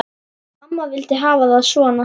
Amma vildi hafa það svona.